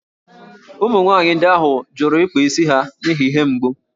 Ụmụ nwanyị ndị ahụ jụrụ ịkpa isi ha n’ihi ihe mgbu